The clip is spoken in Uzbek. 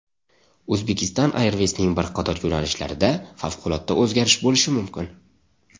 Uzbekistan Airways’ning bir qator yo‘nalishlarida favqulodda o‘zgarish bo‘lishi mumkin.